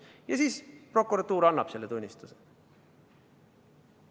Ja siis prokuratuur annab selle tunnistuse.